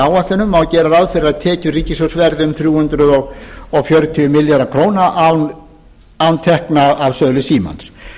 ráð fyrir að tekjur ríkissjóðs verði um þrjú hundruð fjörutíu milljarðar króna án tekna af sölu símans